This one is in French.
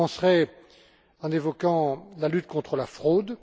Je commencerai en évoquant la lutte contre la fraude.